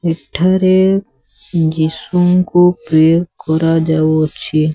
ଏଠାରେ ଯୀଶୁଙ୍କୁ ପ୍ରେ କରା ଯାଉଛି।